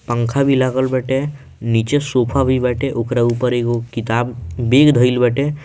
पंखा भी लागल बाटे नीचे सोफा भी बाटे ओकरा ऊपर एगो किताब बैग धइल बाटे।